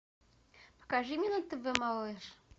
покажи мне на тв малыш